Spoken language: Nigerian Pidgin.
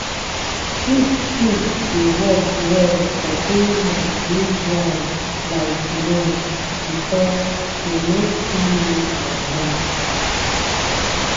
sheep shit dey work well for area wey dry like north because dey no too need water.